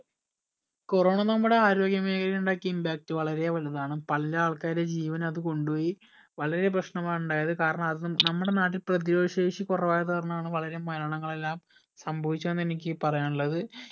corona നമ്മുടെ ആരോഗ്യ മേഘലയിൽ ഇണ്ടാക്കിയ impact വളരെ വലുതാണ് പല ആൾക്കാരുടെയും ജീവൻ അത് കൊണ്ട് പോയി വളരെ പ്രശ്‌നമാണ് ഇണ്ടായത് കാരണം അത് നമ്മുടെ നാട്ടിൽ പ്രതിരോധ ശേഷി കുറവായത് കാരണാണ് വളരെ മരണങ്ങളെല്ലാം സംഭവിച്ചു എന്ന് എനിക്ക് പറയാനുള്ളത്